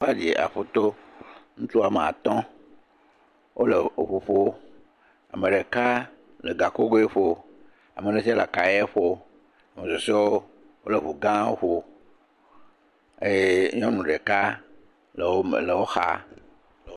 ..aƒuto ŋutsu woame atɔ̃, wole eŋu ƒom, ame ɖeka le gakokgoe ƒom, ame ɖe tsɛ le akayɛ ƒom, ame susɔewo wole ŋugãwo ƒom eye nyɔnu ɖeka le wo me, le wo xa.